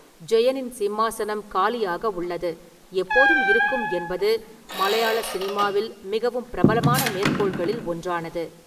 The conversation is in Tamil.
"ஜெயனின் சிம்மாசனம் காலியாக உள்ளது, எப்போதும் இருக்கும்" என்பது' மலையாள சினிமாவில் மிகவும் பிரபலமான மேற்கோள்களில் ஒன்றானது.